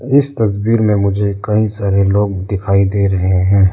इस तस्वीर में मुझे कई सारे लोग दिखाई दे रहे हैं।